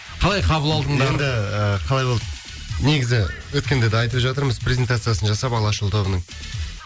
қалай қабыл алдыңдар енді қалай болды негізі өткенде де айтып жатырмыз презентациясын жасап алашұлы тобының